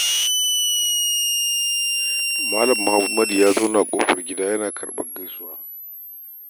Mal. Muhammad ya zauna a ƙofar gida yana karɓar gaisuwar jana'iza.